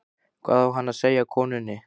Hvað á hann að segja konunni?